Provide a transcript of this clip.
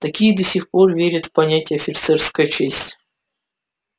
такие до сих пор верят в понятие офицерская честь